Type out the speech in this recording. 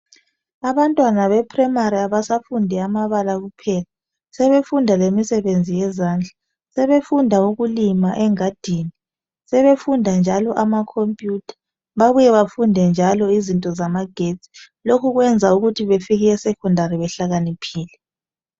Abantwana beprimary abasafundi amabala kuphela, sebefunda lemisebenzi yezandla. Sebefunda ukulima engadini, sebefunda njalo amacompuyutha babuye bafunde njalo izinto zamagetsi. Lokhu kuyayenza ukuthi bafike esecondary behlakaniphile.